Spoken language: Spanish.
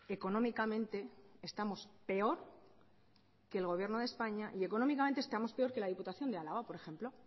económicamente estamos peor que el gobierno de españa y económicamente estamos peor que la diputación de álava por ejemplo